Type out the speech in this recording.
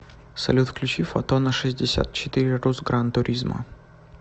салют включи фотона шестьдесят четыре рус гран туризмо